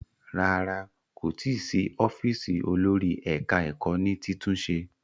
Rárá, kò tí ì sí ọ́fíísì olórí ẹ̀ka-ẹkọ́ ní títúnṣe.